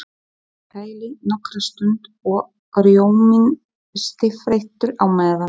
Sett í kæli nokkra stund og rjóminn stífþeyttur á meðan.